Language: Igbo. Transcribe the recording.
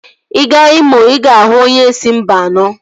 Ị gaa Imo, ị ga-ahụ onye si Mba anọ